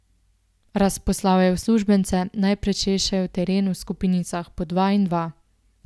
Razposlal je uslužbence, naj prečešejo teren v skupinicah po dva in dva.